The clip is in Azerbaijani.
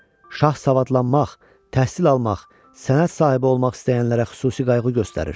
Şah savadlanmaq, təhsil almaq, sənət sahibi olmaq istəyənlərə xüsusi qayğı göstərir.